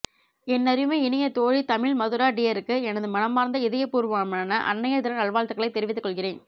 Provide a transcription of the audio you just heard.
என்னருமை இனியத்தோழி தமிழ் மதுரா டியருக்கு எனது மனமார்ந்த இதயபூர்வமான அன்னையர் தின நல்வாழ்த்துக்களைத் தெரிவித்துக் கொள்கிறேன்